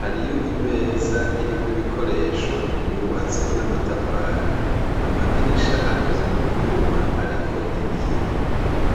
hariyo imeza iriko ibikoresho yubatse n'amatafari amadirisha akoze mu vyuma, ariko ibi yo.